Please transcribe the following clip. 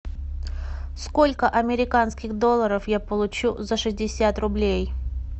сколько американских долларов я получу за шестьдесят рублей